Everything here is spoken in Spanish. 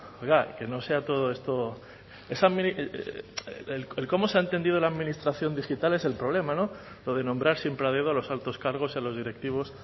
oiga que no sea todo esto el cómo se ha entendido la administración digital es el problema lo de nombrar siempre a dedo a los altos cargos y a los directivos